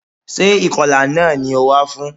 Sé ìkọlà náà ni o wá fún?